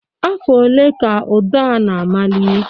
Afọ ole ka ụdọ a na-amali?